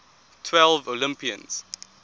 twelve olympians